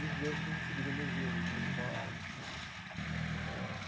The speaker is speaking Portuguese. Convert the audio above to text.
Dos dois eu tenho recebido elogios né na escola né eh.